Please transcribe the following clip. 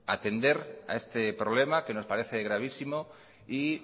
atender a este problema que nos parece gravísimo y